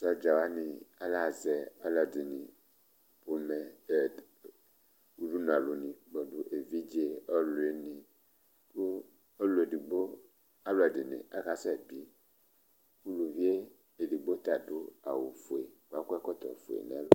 Sɔdza wani ahazɛ alʋɛdìní Ʋdʋnu alu ni kpɔdu nʋ evidze, ɔlʋwìní kʋ ɔlʋɛdigbo, alʋɛdìní akasɛ bii Ʋlʋvi ɛdigbo ta adu awu fʋe kʋ akɔ ɛkɔtɔ fʋe nʋ ɛlu